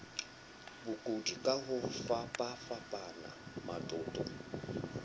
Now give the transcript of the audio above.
bokudi ka ho fapafapana matoto